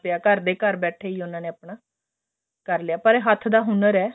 ਘਰ ਦੇ ਘਰ ਬੈਠੇ ਹੀ ਉਹਨਾਂ ਨੇ ਆਪਣਾ ਕਰ ਲਿਆ ਪਰ ਇਹ ਆਪਨੇ ਹੱਥ ਦਾ ਹੁਨਰ ਐ